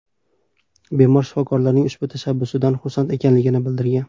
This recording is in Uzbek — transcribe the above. Bemor shifokorlarning ushbu tashabbusidan xursand ekanligini bildirgan.